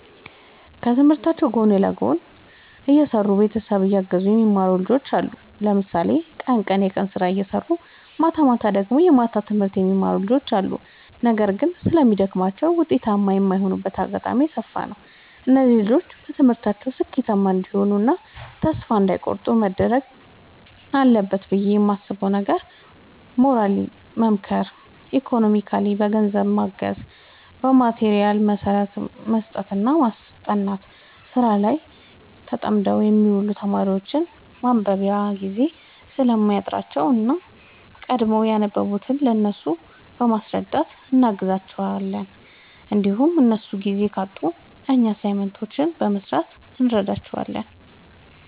ከትምህርታቸው ጎን ለጎን እየሰሩ ቤተሰብ እያገዙ የሚማሩ ብዙ ልጆች አሉ። ለምሳሌ ቀን ቀን የቀን ስራ እየሰሩ ማታማታ ደግሞ የማታ ትምህርት የሚማሩ ልጆች አሉ። ነገር ግን ስለሚደግማቸው ውጤታማ የማይሆኑበት አጋጣሚ የሰፋ ነው። እነዚህ ልጆች በትምህርታቸው ስኬታማ እንዲሆኑ እና ተስፋ እንዳይ ቆርጡ መደረግ አለበት ብዬ የማስበው ነገር ሞራሊ መምከር ኢኮኖሚካሊ በገንዘብ ማገዝ በማቴሪያል መስጠትና ማስጠናት። ስራ ላይ ተጠምደው የሚውሉ ተማሪዎች ማንበቢያ ጊዜ ስለሚያጥራቸው እኛ ቀድመን ያነበብንውን ለእነሱ በማስረዳት እናግዛቸዋለን እንዲሁም እነሱ ጊዜ ካጡ እኛ አሳይመንቶችን በመስራት እንረዳዳለን